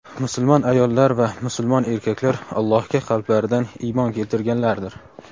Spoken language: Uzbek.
musulmon ayollar va musulmon erkaklar Allohga qalblaridan iymon keltirganlardir.